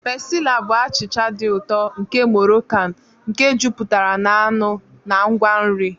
Pestila bụ achịcha dị ụtọ nke Morokan nke jupụtara na anụ na ngwa nri.